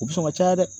U bɛ sɔn ka caya dɛ